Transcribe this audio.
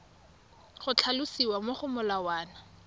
go tlhalosiwa mo go molawana